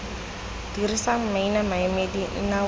dirisa maina maemedi nna wena